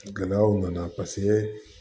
Gɛlɛyaw nana paseke